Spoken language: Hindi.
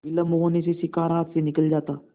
विलम्ब होने से शिकार हाथ से निकल जाता